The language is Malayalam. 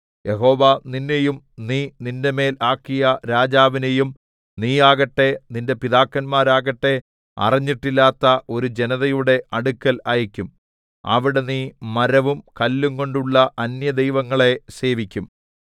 യഹോവ നിന്നെയും നീ നിന്റെമേൽ ആക്കിയ രാജാവിനെയും നീയാകട്ടെ നിന്റെ പിതാക്കന്മാരാകട്ടെ അറിഞ്ഞിട്ടില്ലാത്ത ഒരു ജനതയുടെ അടുക്കൽ അയയ്ക്കും അവിടെ നീ മരവും കല്ലുംകൊണ്ടുള്ള അന്യദൈവങ്ങളെ സേവിക്കും